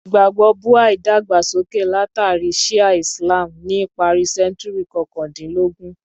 Ìgbàgbọ́ Buha’í dàgbà sókè látàrí Shi’a Islam ni ìparí sẹ́ńtúrì kọkàndínlógún.